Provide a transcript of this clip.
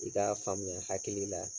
I k'a faamuya hakili la